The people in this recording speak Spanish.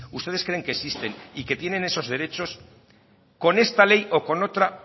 ustedes creen que existen y que tienen esos derechos con esta ley o con otra